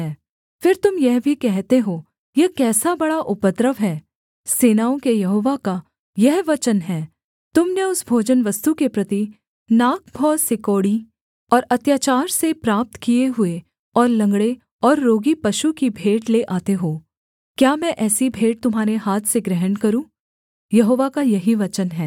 फिर तुम यह भी कहते हो यह कैसा बड़ा उपद्रव है सेनाओं के यहोवा का यह वचन है तुम ने उस भोजनवस्तु के प्रति नाक भौं सिकोड़ी और अत्याचार से प्राप्त किए हुए और लँगड़े और रोगी पशु की भेंट ले आते हो क्या मैं ऐसी भेंट तुम्हारे हाथ से ग्रहण करूँ यहोवा का यही वचन है